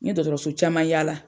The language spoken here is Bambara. N ɲe dɔgɔtɔrɔso caman yaala.